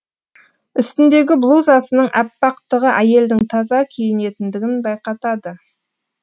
үстіндегі блузасының әппақтығы әйелдің таза киінетіндігін байқатады